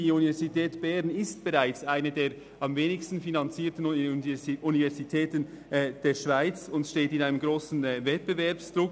Die Universität Bern ist bereits eine der am wenigsten finanzierten Universitäten der Schweiz, und sie steht unter einem beachtlichen Wettbewerbsdruck.